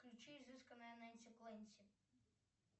включи изысканная ненси кленси